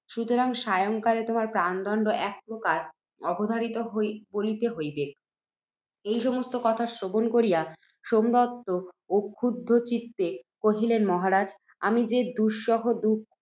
সুতরাং সায়ংকালে তোমার প্রাণদণ্ড একপ্রকার অবধারিত বলিতে হইবেক। এই সমস্ত কথা শ্রবণ করিয়া, সোমদত্ত অক্ষুব্ধচিত্তে কহিলেন, মহারাজ! আমি যে দুঃসহ